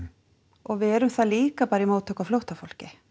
og við erum það líka bara í móttöku á flóttafólki